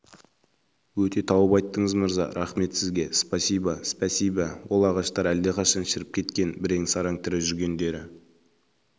өте тауып айттыңыз мырза рақмет сізге спасибо спәсибә ол ағаштар алдақашан шіріп кеткен бірен-саран тірі жүргендері